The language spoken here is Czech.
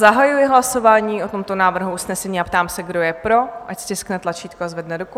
Zahajuji hlasování o tomto návrhu usnesení a ptám se, kdo je pro, ať stiskne tlačítko a zvedne ruku.